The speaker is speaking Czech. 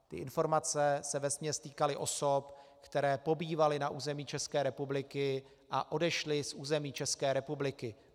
Ty informace se vesměs týkaly osob, které pobývaly na území České republiky a odešly z území České republiky.